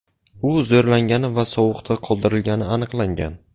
U zo‘rlangani va sovuqda qoldirilgani aniqlangan.